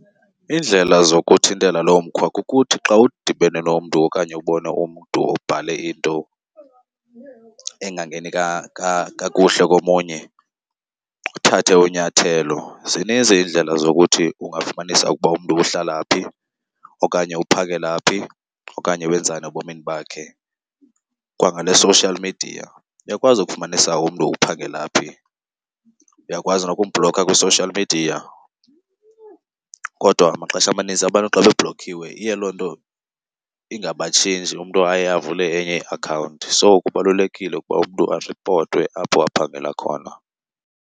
Iindlela zokuthintela loo mkhwa kukuthi xa udibene nomntu okanye ubona umntu obhale into engangeni kakuhle komunye uthathe unyathelo. Zininzi iindlela zokuthi ungafumanisa ukuba umntu uhlala phi okanye uphangela phi okanye wenzani ebomini bakhe kwangale social media. Uyakwazi ukufumanisa umntu uphangela phi, uyakwazi nokumbhlokha kwi-social media. Kodwa maxesha amaninzi abantu xa bebhlokhiwe iye loo nto ingabatshintshi umntu aye avule enye iakhawunti. So, kubalulekile ukuba umntu aripotwe apho aphangela khona.